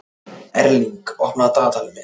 Erling, opnaðu dagatalið mitt.